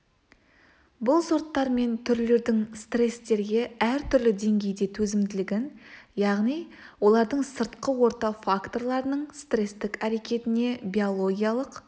бұл сорттар мен түрлердің стресстерге әртүрлі деңгейде төзімділігін яғни олардың сыртқы орта факторларының стрестік әрекетіне биологиялық